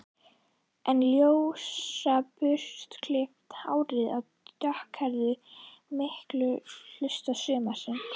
En ljósa burstaklippta hárið var dökkleitt mikinn hluta sumarsins.